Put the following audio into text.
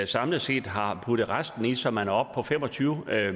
samlet set har puttet resten i så man er oppe på fem og tyve